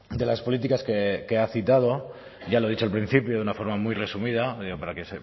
de las políticas que ha citado ya lo he dicho al principio de una forma muy resumida digo para que